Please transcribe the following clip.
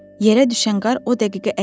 Yerə düşən qar o dəqiqə əriyirdi.